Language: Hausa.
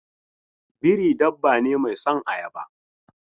Biri dabba ne mai son ayaba.